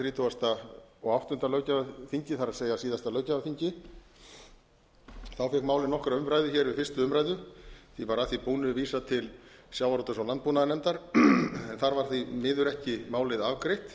þrítugasta og áttunda löggjafarþingi það er síðasta löggjafarþingi fékk málið nokkra umræðu hér við fyrstu umræðu því var að því búnu vísað til sjávarútvegs og landbúnaðarnefndar en þar var því miður ekki málið afgreitt